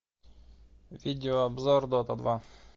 видеообзор дота два